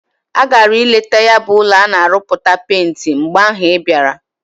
Agara ileta ya bu ulo ana aruputa penti. mgbe ahu ibiara.